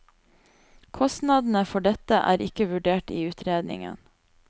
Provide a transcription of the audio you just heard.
Kostnadene for dette er ikke vurdert i utredningen.